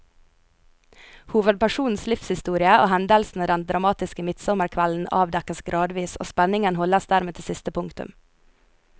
Hovedpersonens livshistorie og hendelsene den dramatiske midtsommerkvelden avdekkes gradvis, og spenningen holdes dermed til siste punktum.